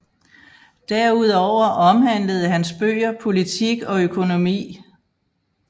Derudover omhandlede hans bøger politik og økonomi